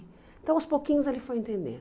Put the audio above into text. Então aos pouquinhos ele foi entendendo.